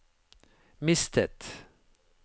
mistet